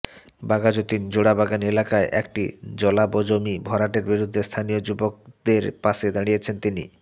বাঘাযতীন জোড়াবাগান এলাকায় একটি জলাজমি ভরাটের বিরুদ্ধে স্থানীয় যুবকদের পাশে দাঁড়িয়েছিলেন তিনি